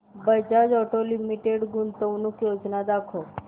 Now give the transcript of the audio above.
Bajaj Auto Limited गुंतवणूक योजना दाखव